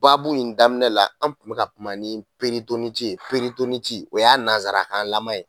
Baabu in daminɛ na an tun bɛ ka kuma ni o y'a nansarakanlama ye